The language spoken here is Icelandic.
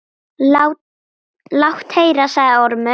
Lát heyra, sagði Ormur.